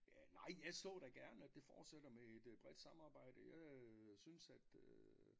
Ja nej jeg så da gerne at det fortsætter med et bredt samarbejde øh synes at øh